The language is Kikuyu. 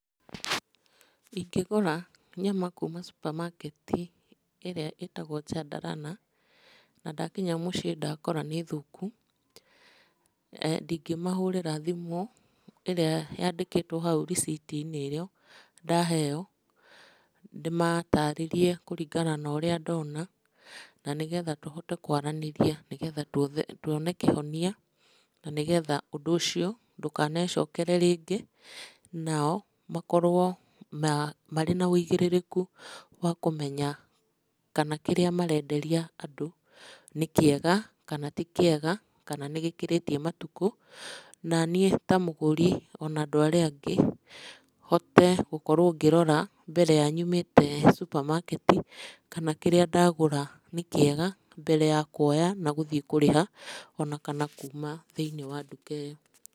Ingĩgũra nyama kuuma supermarket ĩrĩa ĩtagwo Chandarana, na ndakinya mũciĩ ndakora nĩ thũku, ndingĩmahũrĩra thimũ, ĩrĩa yandĩkĩtwo receipt inĩ ĩyo ndaheo, ndĩmatarĩrĩe kũringana na ũrĩa ndona, na nĩgetha tũhote kwaranĩria, nĩgetha tuone kĩhonia, na nĩgetha ũndũ ũcio ndũkanecokere rĩngĩ, nao makorwo marĩ na ũigĩrĩrĩku wa kũmenya kana kĩrĩa marenderia andũ nĩ kĩega, kana ti kĩega, kana nĩ gĩkĩrĩtie matukũ. Naniĩ ta mũgũri, ona kana andũ arĩa angĩ, hote kũrora mbere ya nyumĩte supermarket kana kĩrĩa ndagũra nĩ kĩega, mbere ya kuoya na gũthiĩ kũrĩha, ona kana kuuma thĩinĩ ya nduka ĩyo.